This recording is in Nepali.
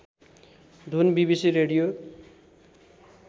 धुन बिबिसी रेडियो